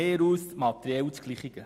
Das ist materiell das Gleiche.